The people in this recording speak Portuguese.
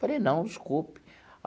Falei, não, desculpe.